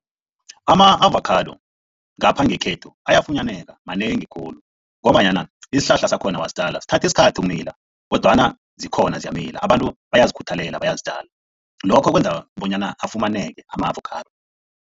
Ama-avakhado ngapha ngekhethu ayafunyaneka, manengi khulu ngombanyana isihlahla sakhona wasitjalo sithatha isikhathi ukumila kodwana zikhona ziyamila, abantu bayazikhuthalela, bayazitjala. Lokho kwenza bonyana afumaneke ama-avakhado.